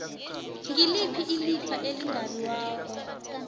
ngiliphi ilifa elingabiwako